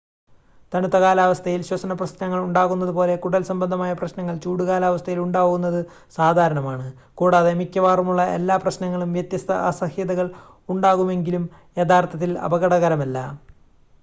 തണുത്ത കാലാവസ്ഥയിൽ ശ്വസന പ്രശ്നങ്ങൾ ഉണ്ടാവുന്നത് പോലെ കുടൽസംബന്ധമായ പ്രശ്നങ്ങൾ ചൂട് കാലാവസ്ഥയിൽ ഉണ്ടാവുന്നത് സാധാരണമാണ് കൂടാതെ മിക്കവാറുമുള്ള എല്ലാ പ്രശ്നങ്ങളും വ്യത്യസ്ത അസഹ്യതകൾ ഉണ്ടാകുമെങ്കിലും യഥാർത്ഥത്തിൽ അപകടകരമല്ല